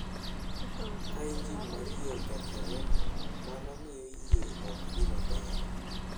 Ka injin mar yie okethore, mano miyo yie ok dhi maber.